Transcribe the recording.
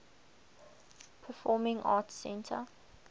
performing arts center